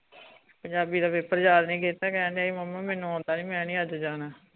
ਪੰਜਾਬੀ ਦਾ ਪੇਪਰ ਯਾਦ ਨੀ ਕੀਤਾ ਕਹਿੰਦਾ ਮੁਮੀ ਮੈਨੂੰ ਆਉਂਦਾ ਨੀ ਮੈਂ ਨੀ ਅੱਜ ਜਾਣਾ